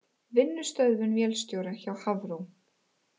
Vinnustöðvun vélstjóra hjá Hafró